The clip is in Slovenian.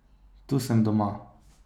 Tu sem doma.